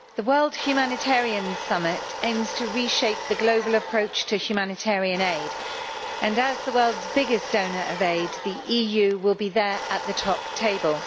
Madam President, the World Humanitarian Summit aims to reshape the global approach to humanitarian aid and as the world's biggest donor of aid, the EU will be there at the top table.